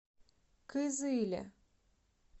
кызыле